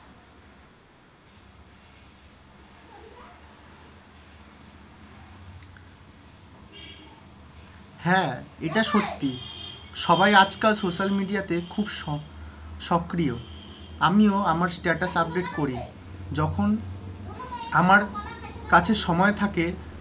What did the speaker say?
হ্যাঁ, এটা সত্যি, সবাই আজকাল সোসাল মিডিয়া তে খুব সক্রিয়। আমিও আমার স্ট্যাটাস আপডেট করি, যখন আমার কাছে সময় থাকে,